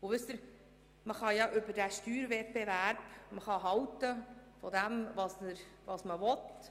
Wissen Sie, man kann vom Steuerwettbewerb halten, was man will.